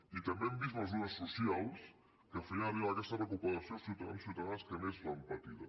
i també hem vist mesures socials que feien arribar aquesta recuperació als ciutadans i ciutadanes que més l’han patida